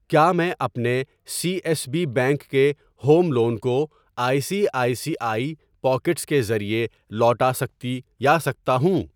کیا میں اپنے سی ایس بی بینک کے ہوم لون کو I C I C I pockets کے ذریعے لوٹا سکتی یا سکتا ہوں؟